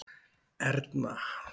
Erna